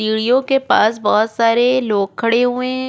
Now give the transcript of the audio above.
सीढ़ियों के पास बहुत सारे लोग खड़े हुए हैं --